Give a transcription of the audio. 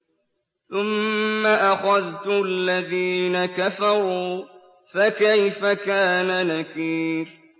ثُمَّ أَخَذْتُ الَّذِينَ كَفَرُوا ۖ فَكَيْفَ كَانَ نَكِيرِ